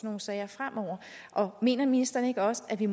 nogle sager fremover og mener ministeren ikke også at vi